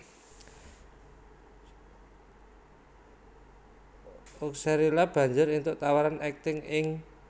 Oxerila banjur éntuk tawaran akting ing